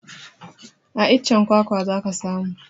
A iccen kwakwa za ka samu